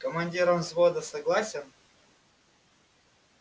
командиром взвода согласен